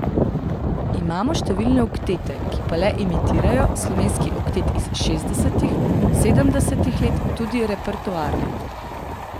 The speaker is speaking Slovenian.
Imamo številne oktete, ki pa le imitirajo Slovenski oktet iz šestdesetih, sedemdesetih let, tudi repertoarno.